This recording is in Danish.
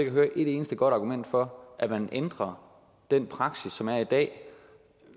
at høre et eneste godt argument for at man ændrer den praksis som er i dag